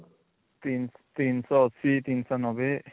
୩ ୩୮୦ ୩୯୦